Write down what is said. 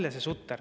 Jälle see Sutter.